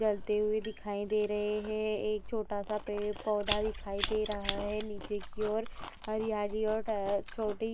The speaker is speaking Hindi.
जलती हुई दिखाई दे रहे है एक छोटा सा पेड़ पौधा दिखाई दे रहा है नीचे की ओर हरयाली और छोटी --